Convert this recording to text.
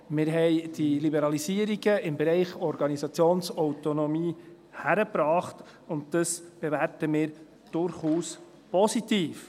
Wir haben die Liberalisierungen im Bereich Organisationsautonomie hingekriegt, und das bewerten wir durchaus positiv.